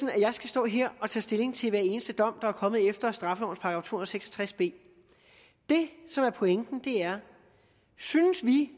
jeg skal stå her og tage stilling til hver eneste dom der er kommet efter straffelovens § og seks og tres b det som er pointen er synes vi